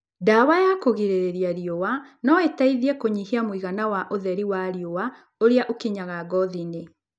Ndawa ya kũrigĩrĩria riũwa no ĩteithie kũnyihia mũigana wa ũtheri wa riũwa ũrĩa ũkinyaga ngothi-inĩ.